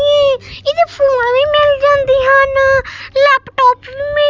ਇਹ ਇਹਦੇ ਫੋਨ ਵੀ ਮਿਲ ਜਾਂਦੇ ਹਨ ਲੈਪਟੋਪ ਵੀ ਮਿ --